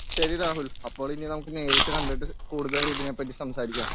ശരി രാഹുൽ അപ്പോൾ ഇനി നമുക്ക് നേരിട്ട് കണ്ടിട്ട് കൂടുതൽ ഇതിനെ പറ്റി സംസാരിക്കാം.